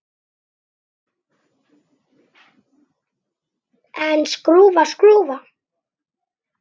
En skrúfa skrúfu?